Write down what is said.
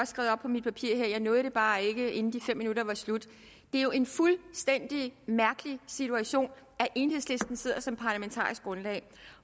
skrevet op på mit papir her jeg nåede det bare ikke inden de fem minutter var slut det er jo en fuldstændig mærkelig situation at enhedslisten sidder som parlamentarisk grundlag